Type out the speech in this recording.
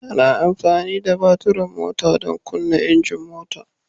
Ana amfani da batura na mota don kunna injin mota.